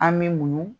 An me muɲu